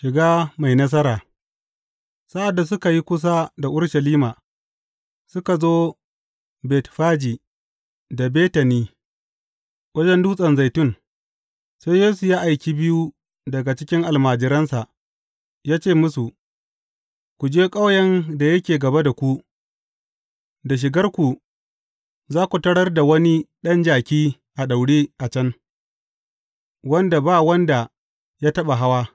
Shiga mai nasara Sa’ad da suka yi kusa da Urushalima, suka zo Betfaji da Betani wajen Dutsen Zaitun, sai Yesu ya aiki biyu daga cikin almajiransa, ya ce musu, Ku je ƙauyen da yake gaba da ku, da shigarku, za ku tarar da wani ɗan jaki a daure a can, wanda ba wanda ya taɓa hawa.